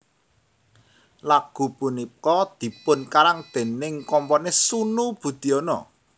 Lagu punika dipunkarang déning komponis Sunu Budiono